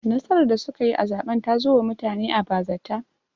Nasarar da suka yi a zaɓen ta zo wa mutane a bazata